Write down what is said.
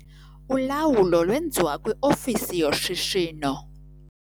Ulawulo lwenziwa kwiofisi yoshishino.